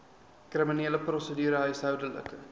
kriminele prosedure huishoudelike